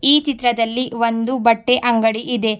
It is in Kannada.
ಈ ಚಿತ್ರದಲ್ಲಿ ಒಂದು ಬಟ್ಟೆ ಅಂಗಡಿ ಇದೆ.